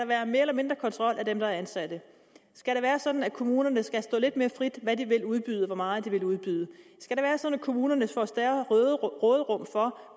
være mere eller mindre kontrol af dem der er ansatte skal det være sådan at kommunerne skal stå lidt mere frit med de vil udbyde og hvor meget de vil udbyde skal det være sådan at kommunerne får større råderum for